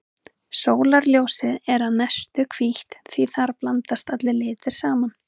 Sólarljósið er að mestu hvítt því þar blandast allir litir saman.